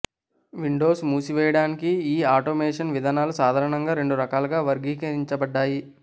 Windows మూసివేయడానికి ఈ automation విధానాలు సాధారణంగా రెండు రకాలుగా వర్గీకరించబడ్డాయి